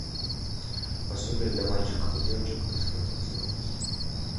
пособие для мальчиков и девочек как скатиться вниз